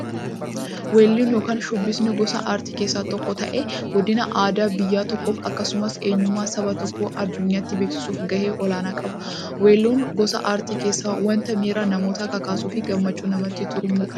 Weelluun yookin shubbifni gosa aartii keessaa tokko ta'ee, guddina aadaa biyya tokkoof akkasumas eenyummaa saba tokkoo addunyyaatti beeksisuuf gahee olaanaa qaba. Weelluun gosa artii keessaa wanta miira namootaa kakaasuufi gammachuu namatti truumudha.